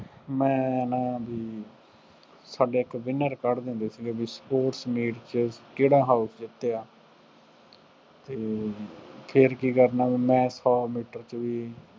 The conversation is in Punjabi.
ਮੈਂ ਨਾ ਬਈ, ਸਾਡੇ ਇੱਕ winner ਕੱਢਦੇ ਹੁੰਦੇ ਸੀਗੇ, ਬਈ sports meet ਚ ਕਿਹੜਾ house ਜਿੱਤਿਆ, ਅਤੇ ਫੇਰ ਕੀ ਕਰਨਾ, ਬਈ ਮੈਂ ਸੌ ਮੀਟਰ ਦੀ